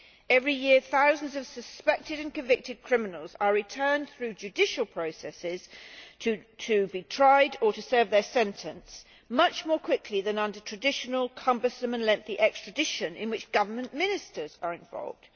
Every year thousands of suspected and convicted criminals are returned through judicial processes to be tried or to serve their sentence much more quickly than under traditional, cumbersome and lengthy extradition, in which government ministers are involved.